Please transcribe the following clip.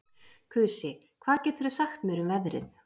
Kusi, hvað geturðu sagt mér um veðrið?